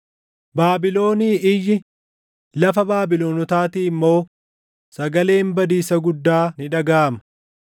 “Baabilonii iyyi, lafa Baabilonotaatii immoo sagaleen badiisa guddaa ni dhagaʼama.